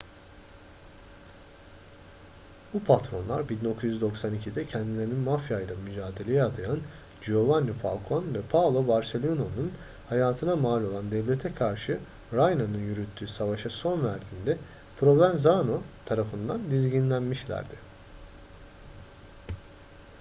bu patronlar 1992'de kendilerini mafya'yla mücadeleye adayan giovanni falcone ve paolo borsellino'nun hayatına mal olan devlete karşı riina'nın yürüttüğü savaşa son verdiğinde provenzano tarafından dizginlenmişlerdi.